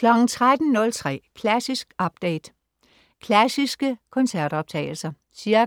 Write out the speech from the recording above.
13.03 Klassisk update. Klassiske koncertoptagelser. Ca.